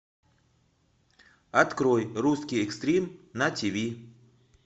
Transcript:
открой русский экстрим на тв